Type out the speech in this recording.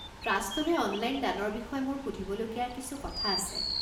ট্ৰাষ্টলৈ online দানৰ বিষয়ে মোৰ সুধিবলগীয়া কিছু কথা আছে।